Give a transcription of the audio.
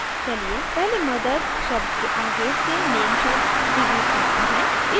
चलिए पहले mothers शब्द के आगे से name शब्द डिलीट करते हैं